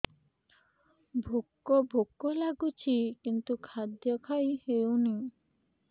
ଭୋକ ଭୋକ ଲାଗୁଛି କିନ୍ତୁ ଖାଦ୍ୟ ଖାଇ ହେଉନି